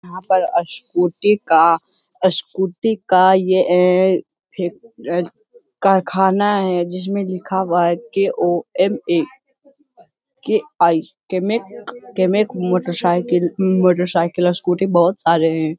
यहाँ पर अ स्कूटी का अ स्कूटी का ये ए कारखाना है। जिसमें लिखा हुआ है के.ओ.एम.ए.के.आई. केमेक केमेक मोटरसाइकिल मोटरसाइकिल स्कूटी बोहोत सारे है।